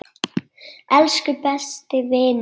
Elsku besti vinur minn.